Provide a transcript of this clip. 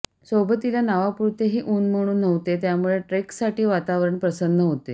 सोबतीला नावापुरतेही उन्ह म्हणून नव्हते त्यामुळे ट्रेकसाठी वातावरण प्रसन्न होते